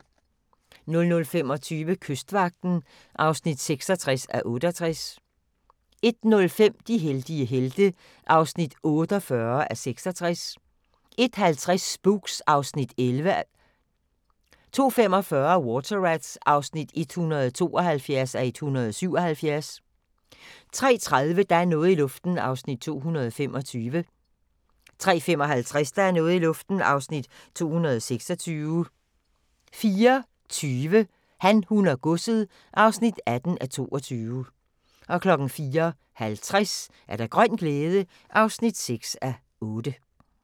00:25: Kystvagten (66:68) 01:05: De heldige helte (48:66) 01:50: Spooks (Afs. 11) 02:45: Water Rats (172:177) 03:30: Der er noget i luften (225:320) 03:55: Der er noget i luften (226:320) 04:20: Han, hun og godset (18:22) 04:50: Grøn glæde (6:8)